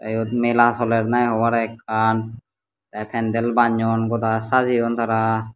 iyot mela soler nahi hobarey ekkan te pendel bannyon goda sajeyon tara.